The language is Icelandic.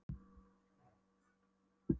Hægt og hægt greri vangi Ólafs Tómassonar.